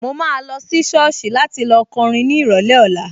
Mo máa lọ sí sọ́ọ̀sì láti lọ kọrin ní ìrọ̀lẹ́ ọ̀la